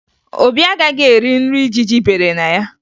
Obi agaghị eri nri ijiji bere na ya